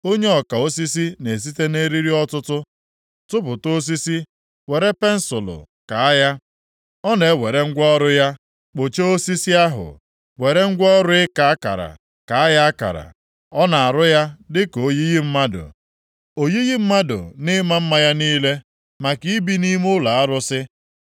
Onye ọka osisi na-esite nʼeriri ọtụtụ tụpụta osisi were pensụlụ kaa ya; ọ na-ewere ngwa ọrụ ya kpụchaa osisi ahụ, were ngwa ọrụ ịka akara, kaa ya akara. Ọ na-arụ ya dịka oyiyi mmadụ, oyiyi mmadụ nʼịma mma ya niile, maka ibi nʼime ụlọ arụsị.